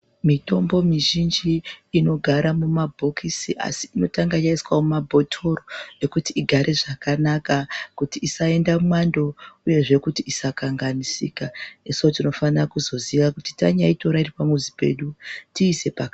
Mitombo mizhinji inogara mumabhokisi asi inotanga yaiswa mumabhotoro. Ekuti igare zvakanaka kuti isaenda mwando uyezve kuti isakanganisika. Nesuvo tinofana kuzoziya kuti tanyaitora iri pamuzi pedu tiise pakanaka.